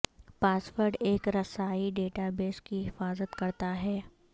پاس word ایک رسائی database کی حفاظت کرتا ہے